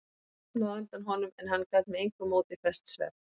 Hún sofnaði á undan honum en hann gat með engu móti fest svefn.